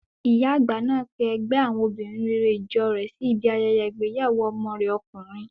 Ìyá àgbà náà pe ẹgbẹ́ àwọn obìnrin rere ìjọ rẹ̀ sí ibi ayẹyẹ ìgbéyàwó ọmọ rẹ̀ ọkùnrin.